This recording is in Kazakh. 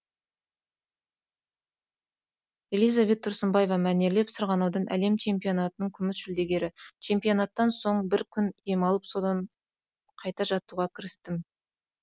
элизабет тұрсынбаева мәнерлеп сырғанаудан әлем чемпионатының күміс жүлдегері чемпионаттан соң бір күн демалып содан қайта жаттығуға кірістім